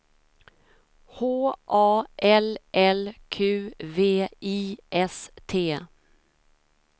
H A L L Q V I S T